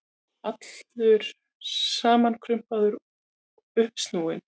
allur samankrumpaður og uppsnúinn.